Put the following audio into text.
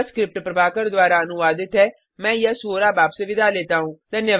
यह स्क्रिप्ट प्रभाकर द्वारा अनुवादित है मैं यश वोरा अब आपसे विदा लेता हूँ